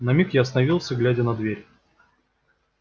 на миг я остановился глядя на дверь